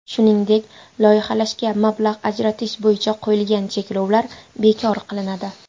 Shuningdek, loyihalashga mablag‘ ajratish bo‘yicha qo‘yilgan cheklovlar bekor qilinadi.